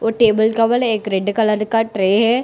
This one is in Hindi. और टेबल कवर एक रेड कलर का ट्रे है।